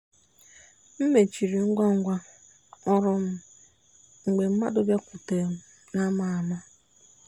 m mechiri ngwa ngwa ngwa ọrụ m mgbe mmadụ bịakwutere m n’amaghị ama.